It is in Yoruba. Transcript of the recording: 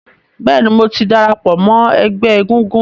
Bẹ́ẹ̀ ni, mò ti darapọ̀ mọ́ ẹgbẹ́ egúngún.